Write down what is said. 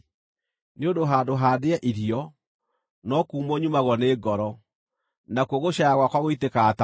Nĩ ũndũ handũ ha ndĩe irio, no kuumwo nyumagwo nĩ ngoro; nakuo gũcaaya gwakwa gũitĩkaga ta maaĩ.